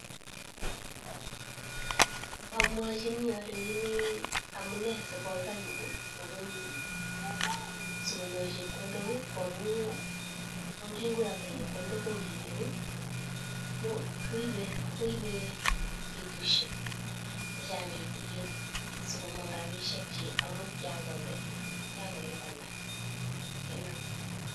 Amwachini alechini amune sikokany sikonyor chepkondok koamu kingikoyakto chepkondok ko ngiweku koibe petushek chechang kitikin sikomang rabishek chi amun kiakonde .